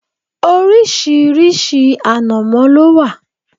Orísìírísìí ànàmọ́ ló wà.